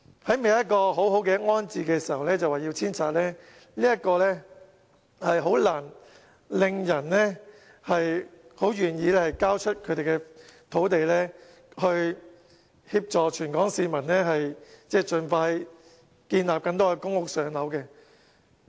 在未有一個妥善安置方案時，政府便要他們遷拆，這很難令人願意交出土地，以協助全港市民，盡快興建更多公屋讓輪候人士"上樓"。